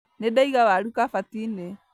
Nĩndaiga waru kabati-inĩ